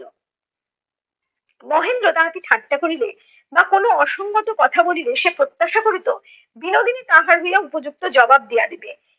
মহেন্দ্র তাহাকে ঠাট্টা করিলে, বা কোনো অসংগত কথা বলিলে সে প্রত্যাশা করিত, বিনোদিনী তাহার হইয়া উপযুক্ত জবাব দিয়া দিবে।